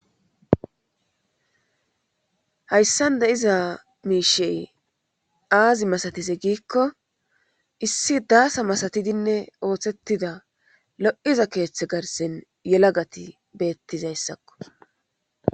Hayssanda iza miishey aazi masatize giikko issi daasa masatidinne ooththettida lo'iza keeththe garsen yelagati beettizayssakko.